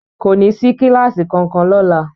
Kò ní sí kíláásì kankan lọ́la.